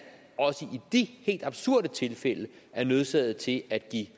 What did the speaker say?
også i de helt absurde tilfælde er nødsaget til at give